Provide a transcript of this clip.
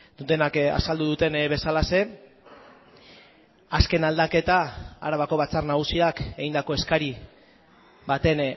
dutenak azaldu duten bezalaxe azken aldaketa arabako batzar nagusiak egindako eskari baten